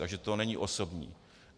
Takže to není osobní.